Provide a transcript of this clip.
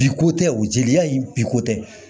Biko tɛ o jeliya in bi ko tɛ